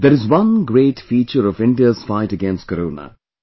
there is one great feature of India's fight against Corona